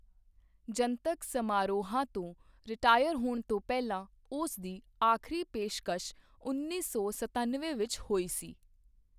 ਜਨਤਕ ਸਮਾਰੋਹਾਂ ਤੋਂ ਰਿਟਾਇਰ ਹੋਣ ਤੋਂ ਪਹਿਲਾਂ ਉਸ ਦੀ ਆਖਰੀ ਪੇਸ਼ਕਸ਼ ਉੱਨੀ ਸੌ ਸਤਨਵੇਂ ਵਿੱਚ ਹੋਈ ਸੀ।